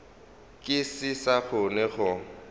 ke se sa kgona go